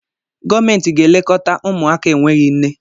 Gọọmenti ga elekọta ụmụaka enweghị nne.